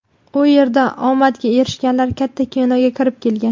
U yerda omadga erishganlar katta kinoga kirib kelgan.